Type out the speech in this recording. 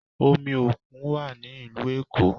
Omi òkun wá ní ìlú Èkó